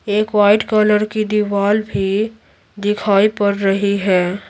एक white colour की दीवार भी दिखाई पड़ रही है।